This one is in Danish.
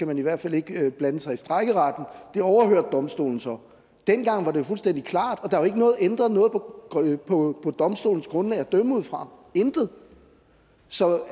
man i hvert fald ikke blande sig i strejkeretten det overhørte domstolen så dengang var det jo fuldstændig klart og der er jo ikke ændret noget på på domstolens grundlag at dømme ud fra intet så